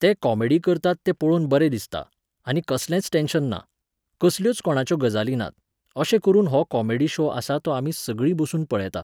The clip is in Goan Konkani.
ते कॉमेडी करतात तें पळोवन बरें दिसता, आनी कसलेंच टॅन्शन ना, कसल्योच कोणाच्यो गजाली नात, अशें करुन हो कॉमेडी शो आसा तो आमी सगळीं बसून पळेतां